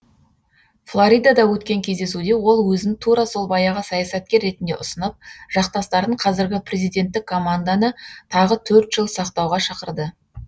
флоридада өткен кездесуде ол өзін тура сол баяғы саясаткер ретінде ұсынып жақтастарын қазіргі президенттік команданы тағы төрт жыл сақтауға шақырды